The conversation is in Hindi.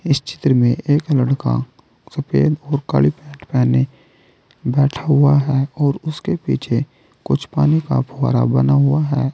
इस चित्र में एक लड़का सफेद और काली पैंट पहने बैठा हुआ है और उसके पीछे कुछ पानी का फुआरा बना हुआ है।